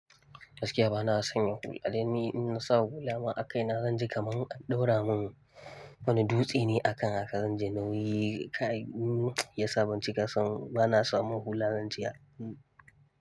Gaskiya bana son yin hula dan ni in na sa hula ma a kai na zan ji kaman an ɗaura mun wani dutse ne a kan haka zan ji nauyi kai ya sa bann cika san bana samun hula zan jiya.